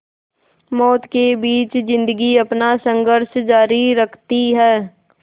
मौत के बीच ज़िंदगी अपना संघर्ष जारी रखती है